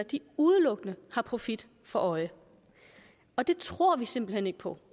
udelukkende har profit for øje og det tror vi simpelt hen ikke på